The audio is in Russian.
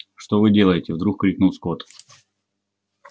что вы делаете вдруг крикнул скотт